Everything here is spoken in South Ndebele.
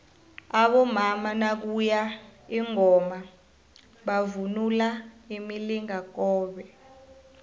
abomama nakuye ingoma bavunula imilingakobe